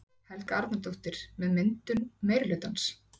Helga Arnardóttir: með myndun meirihlutans?